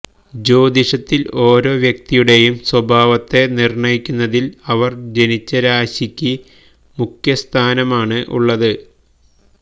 ജ്യോതിഷത്തില് ഒരോ വ്യക്തിയുടെയും സ്വഭാവത്തെ നിര്ണയിക്കുന്നതില് അവര് ജനിച്ച രാശിക്ക് മുഖ്യസ്ഥാനമാണ് ഉള്ളത്